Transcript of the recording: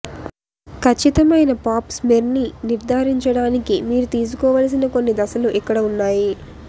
ఖచ్చితమైన పాప్ స్మెర్ని నిర్ధారించడానికి మీరు తీసుకోవలసిన కొన్ని దశలు ఇక్కడ ఉన్నాయి